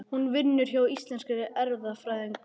Hún vinnur hjá Íslenskri erfðagreiningu.